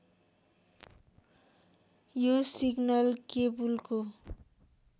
यो सिग्नल केबुलको